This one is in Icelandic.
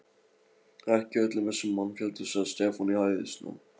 Ekki í öllum þessum mannfjölda, sagði Stefán í hæðnistón.